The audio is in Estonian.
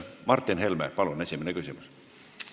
Martin Helme, palun esimene küsimus!